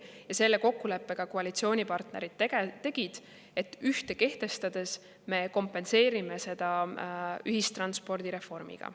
Ja selle kokkuleppe ka koalitsioonipartnerid tegid, et kehtestades me kompenseerime seda ühistranspordi reformiga.